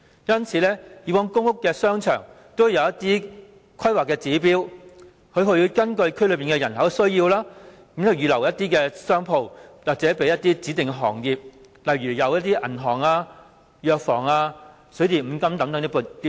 因此，以往公屋商場都會有一些規劃指標，根據區內人口的需要，預留一定的商鋪給指定的行業，例如銀行、藥房、水電五金等店鋪。